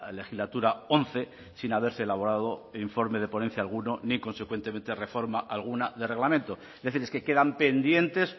legislatura once sin haberse elaborado informe de ponencia alguno ni consecuentemente reforma alguna de reglamento es decir es que quedan pendientes